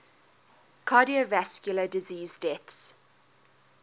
cardiovascular disease deaths